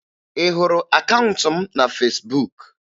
Ị hụrụ akaụntụ m na Fesbuk?